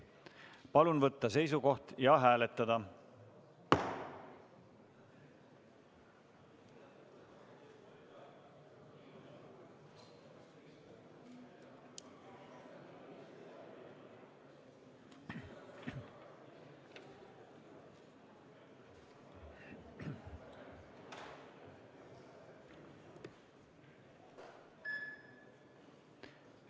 Palun võtta seisukoht ja hääletada!